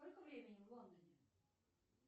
сколько времени в лондоне